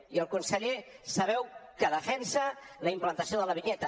i el conseller sabeu que defensa la implantació de la vinyeta